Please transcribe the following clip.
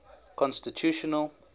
constitutional